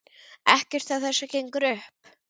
Ekkert af þessu gengur upp.